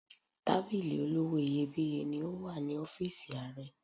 Tábìlì olówó iyebíye ni ó wà ní ọ́fíìsì Ààrẹ.